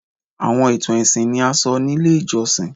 Awọn itan ẹsin ni a sọ ni ile ijọsin